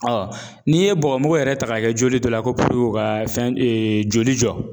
n'i ye bɔgɔmugu yɛrɛ ta k'a kɛ joli dɔ la ko ka fɛn joli jɔ